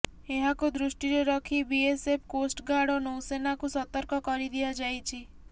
ଏହାକୁ ଦୃଷ୍ଟିରେ ରଖି ବିଏସଏଫ କୋଷ୍ଟଗାର୍ଡ ଓ ନୌସେନାକୁ ସତର୍କ କରିଦିଆଯାଇଛି